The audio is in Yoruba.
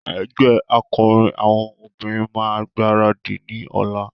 Ẹgbẹ́ akọrin àwọn obìnrin máa gbaradì ní ọ̀la.